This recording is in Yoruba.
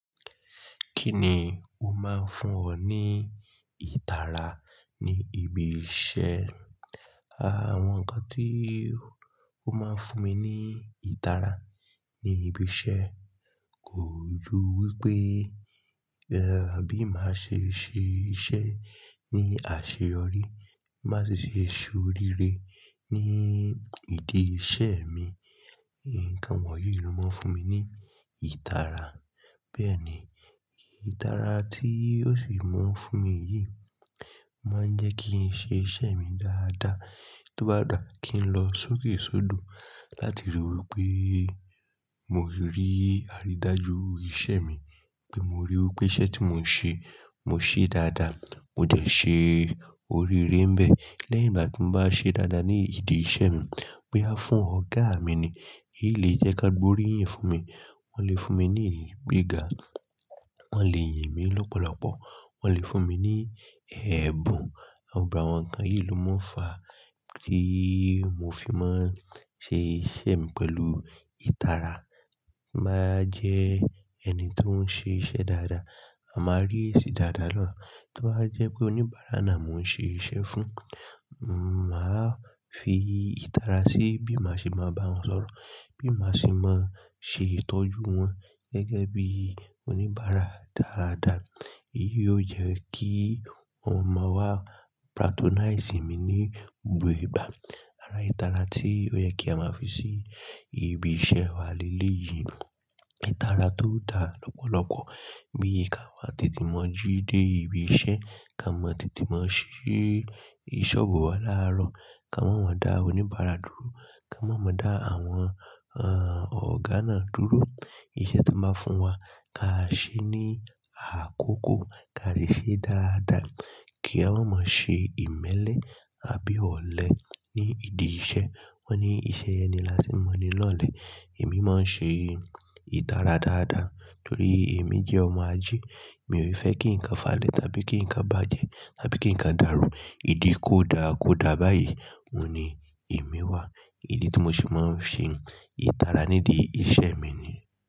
Kí ni ó máa ń fún ọ ní ìtara ní ibi iṣẹ́? Àwọn nǹkan tí ó máa ń fún mi ní ìtara ní ibi iṣẹ́ kò ju wí pé, ẹ́, bí màá ṣe ṣe iṣẹ́ ní àṣeyọrí, má sì ṣe ṣé oríire ní ìdí iṣẹ́ mi. Nnkan wọ̀nyí ló máa ń fún mi ní ìtara. Bẹ́ẹ̀ ni, ìtara tí ó sì máa ń fún mi yìí máa ń jẹ́ kí n ṣe iṣẹ́ mi dáadáa. Tó bá dà kí n lọ sókèsódò láti rí i wí pé mo rí aridaju iṣẹ́ mi, pé mo ríì wí pé iṣẹ́ tí mò ń ṣe, mò ń ṣe dáadáa, mo jẹ̀ ṣé oríire bẹ̀. Lẹ́yìn bá ti bà ṣe dáadáa ní ìdí iṣẹ́ mi, pé a fún ọ̀gá mi ni, èyí le jẹ́ kí gbogbo ríyìn fún mi. Wọ́n lè fún mi ní ìyìn gbéga, wọ́n lè yìn mí lọ́pọ̀lọpọ̀, wọ́n lè fún mi ní ẹ̀bùn. Àwọn nǹkan yìí ló máa ń fa tí mo fi máa ń ṣe iṣẹ́ mi pẹ̀lú ìtara. Bí n ba jẹ́ ẹni tó ń ṣe iṣẹ́ dáadáa, à màá rí eesi dáadáa naa. Tó bá jẹ́ pé oníbàárà náà mò ń ṣe iṣẹ́ fún, màá fi ìtara sí bí màá ṣe máa bá wọn sọ̀rọ̀, bí màá ṣe máa ṣe ìtọ́jú wọn gẹ́gẹ́ bí oníbàárà dáadáa. Èyí ó jẹ́ kí wọ́n máa wá patronize mi ní gbogbo ìgbà. Ara ìtara tí ó yẹ kí a máa fi sí ibi iṣẹ́ wa lélẹ̀ yìí ni ìtara tó dá lọ́pọ̀lọpọ̀. Bí ka wa tètè mọ́ jí dé ibi iṣẹ́, ká mọ tètè mọ́ ṣí sọ́ọ̀bù wa láàárọ̀, ká mo mọ dà oníbàárà dúró, ká má mo mọ dà àwọn, àh, ọ̀gá náà dúró. Iṣẹ́ tí wọ́n bá fún wa, ká ṣe é ní àkókò, ká sì ṣe é dáadáa. Kí a máa mọ ṣe ìmẹ́lẹ́ àbí ọ̀lẹ ní ìdí iṣẹ́. Wọ́n ní iṣẹ́ ẹni la ti mọ ni lọ́lẹ̀. Èmi máa ń ṣe ìtara dáadáa torí èmi jẹ́ ọmọ ajé. Èmi ò fẹ́ kí nǹkan falẹ̀ tàbí kí nǹkan bàjẹ́ àbí kí nǹkan dàrú. Ìdí kó dà, kó dà báyìí, òun ni èmi wà. Èyí tí mo se máa ń ṣe ìtara nídi iṣẹ́ mi ni.